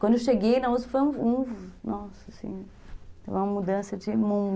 Quando eu cheguei na uspi foi um... Nossa, assim... Foi uma mudança de mundo.